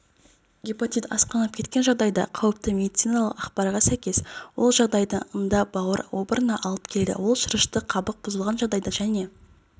гепатит асқынып кеткен жағдайда қауіпті медициналық ақпарға сәйкес ол жағдайдың ында бауыр обырына алып келеді ол шырышты қабық бұзылған жағдайда және